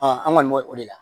an kɔni bo o de la